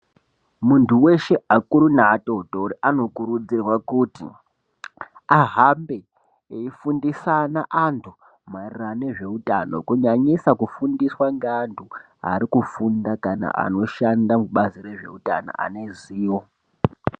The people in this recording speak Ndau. Muntu weshe akuru neatotori anokurudzirwe kuti ahambe efundisana antu maererana ngezveutano kunyanyisa kufundiswa ngeantu ari kufunda kana anoshanda kubazi rezveutano ane ruzivo.